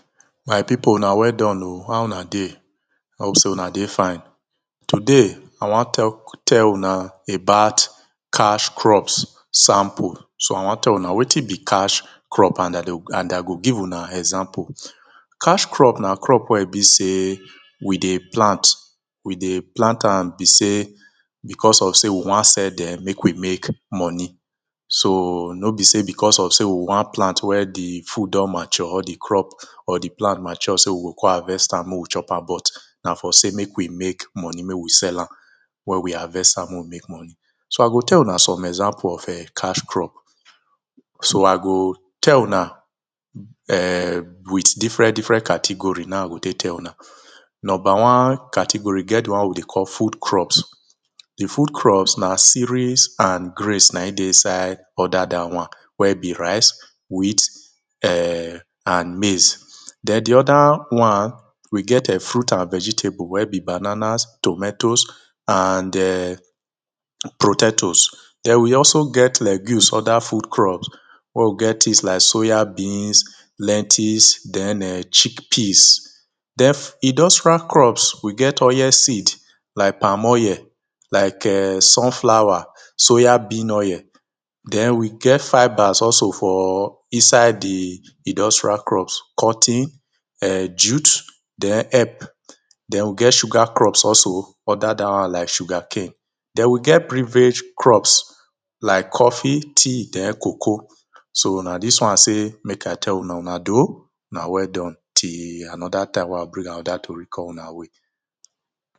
My people una Weldon oh, how una dey? Hope sey una dey fine? today I wan talk, tell una about cash crops sample. So I wan tell una wetin be cash crop? and I go and I go give una example. cash crop na crop wey e be sey we dey plant and we dey plant am be sey, because of sey we wan sell dem, make we make money. So no be sey because of sey we wan plant wen di fruit don mature for di crop or di plant mature sey we go come harvest am make we chop am but na for sey make we make money, make we sell am. Wen we harvest am make we make money, so I go tell una some example of [urn] cash crop. So I go tell una [urn] with different different category na e I go take tell una. Number one category e get di one wey we dey call food crops. Di food crops. Na cereals and grains na im dey in side all dat one wen be rice, wheat, [urn] and maize. Den di oda one We get [urn] fruit and vegetables wen be babanas tomatoes and [urn] potatoes. Den we also get legumes under food crops wen we get things like soya beans, lettuce den [urn] chick peas. Den industrial drops we get oil seed like palm oil, like [urn] sun flower, soya bean oil. Den we get fibres also for inside di industrial crops cotton, [urn] jut den hep. Den we get sugar crops also under dat one like sugar cane. Den we get beverage crops like coffee, tea, den cocoa. So na dis one I sey make I tell una, una doh, una Weldon till another time wey I go bring another story come una way.